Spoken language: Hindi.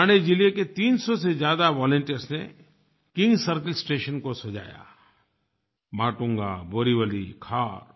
ठाणे ज़िले के 300 से ज़्यादा वॉलंटियर्स ने किंग सर्किल स्टेशन को सजाया माटुंगा बोरीवली खार